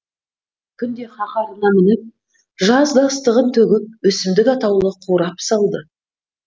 күн де қаһарына мініп жазда ыстығын төгіп өсімдік атаулы қурап салды